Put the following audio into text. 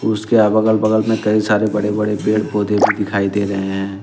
उसके अगल बगल में कई सारे पेड़ पौधे भी दिखाई दे रहे हैं।